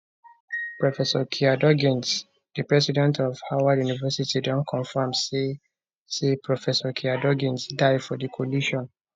professor kiah duggins di president of howard university don confam say say professor kiah duggins die for di collision